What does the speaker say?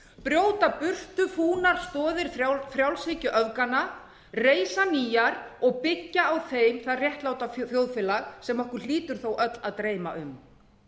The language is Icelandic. brjóta burtu fúnar stoðir frjálshyggjuöfganna reisa nýjar og byggja á þeim það réttláta þjóðfélag sem okkur hlýtur þó öll að dreyma um